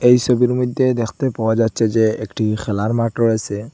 এই সবির মইধ্যে দেখতে পাওয়া যাচ্ছে যে একটি খেলার মাঠ রয়েসে।